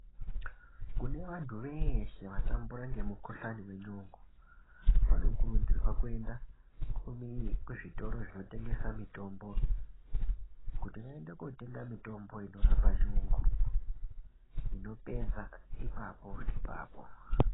Kune vantu veeshe vatambura ngemukhuhlani nenyongo, vanokurudzirwa kuenda, kumi kuzvitoro zvinotengesa mitombo, kuti vaende kootenga mitombo inorapa nyongo, inopedza ipapo ipapo.